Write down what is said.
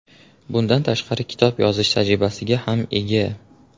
Bundan tashqari, kitob yozish tajribasiga ham ega”.